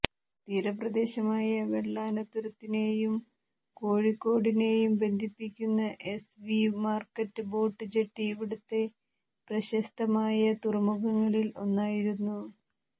തീരപ്രദേശമായ വെളളനാതുരത്തിനെയും കോഴിക്കോടിനെയും ബന്ധിപ്പിക്കുന്ന S V market boat jetty ഇവിടുത്തെ പ്രശസ്തമായ തുറമുഖങ്ങളിൽ ഒന്നായിരുന്നു